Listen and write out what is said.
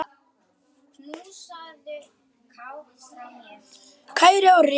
Kæri Orri.